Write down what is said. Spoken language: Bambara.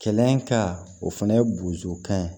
Kɛlɛ ka o fana ye bozokan ye